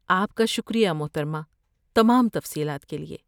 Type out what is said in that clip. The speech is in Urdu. آپ کا شکریہ، محترمہ، تمام تفصیلات کے لیے۔